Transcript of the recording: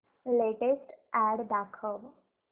latest ad दाखव